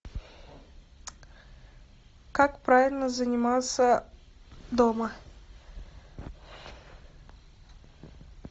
как правильно заниматься дома